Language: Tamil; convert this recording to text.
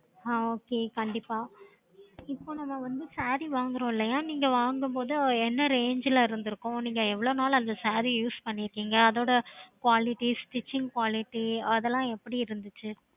okay